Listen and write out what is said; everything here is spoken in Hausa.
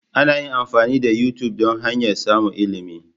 An yi amfani da YouTube don hanyar samun ilimi.